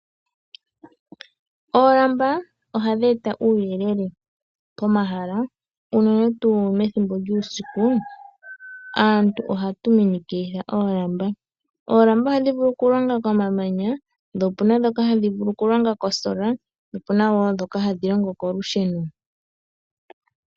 Oolamba ohadhi eta uuyelele pomahala unene tuu methimbo lyuusiku, aantu ohatu minikilitha oolamba. Oolamba ohadhi vulu okulonga komamanya, po opu na ndhoka hadhi vulu okulonga kosola po opu na wo ndhoka hadhi longo kolusheno.